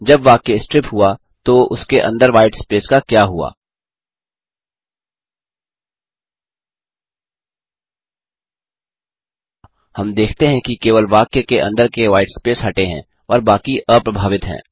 जब वाक्य स्ट्रिप हुआ तो उसके अंदर व्हाईट स्पेस का क्या हुआ हम देखते हैं कि केवल वाक्य के अंदर के व्हाईट स्पेस हटे हैं और बाक़ी अप्रभावित हैं